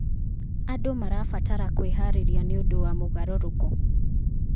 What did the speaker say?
Andũ marabatara kwĩharĩrĩria nĩ ũndũ wa mogarũrũku.